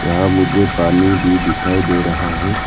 यहां मुझे पानी भी दिखाई दे रहा है।